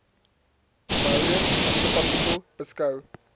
behoudens subartikel beskou